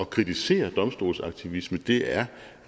kritisere domstolsaktivisme det er